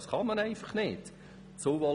Dies ist einfach nicht möglich!